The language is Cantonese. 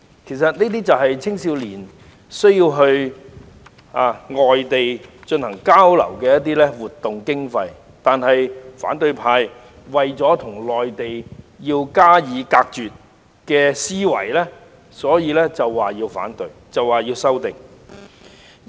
這些其實是青年人到外地進行交流活動的所需經費，但反對派卻基於要與內地隔絕的思維而提出反對和修訂。